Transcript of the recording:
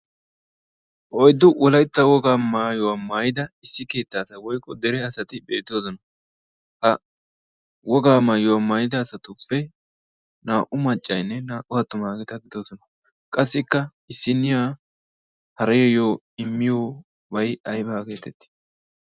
oiddu wolaitta wogaa maayuwaa maayida issi kiittaasa woykko dere asati beettoosona ha wogaa maayuwaa maayida asatuppe naa''u maccainne naa''u attu maageeta gidoosona qassikka issinniya hariyoyyo immiyoobay aybaa geetetti